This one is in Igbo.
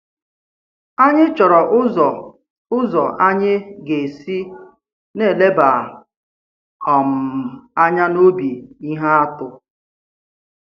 Anyị̀ chọ̀rọ̀ ụzọ ụzọ anyị̀ ga-esi na-eleba um anya n’obi ihe atụ.